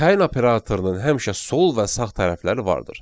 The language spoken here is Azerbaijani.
Təyin operatorunun həmişə sol və sağ tərəfləri vardır.